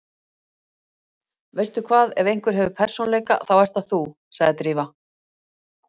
Veistu hvað, ef einhver hefur persónuleika þá ert það þú- sagði Drífa.